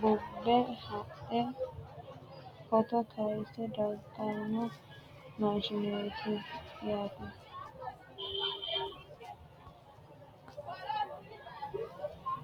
buubbe hadhe footo kayisse dagganno maashineeti yaate